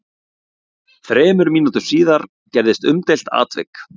Þremur mínútum síðar gerðist umdeilt atvik.